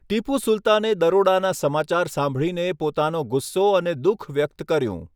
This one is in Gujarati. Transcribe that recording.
ટીપુ સુલતાને દરોડાના સમાચાર સાંભળીને પોતાનો ગુસ્સો અને દુઃખ વ્યક્ત કર્યું.